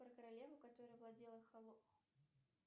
про королеву которая владела